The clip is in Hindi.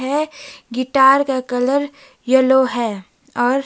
यह गिटार का कलर येलो है और--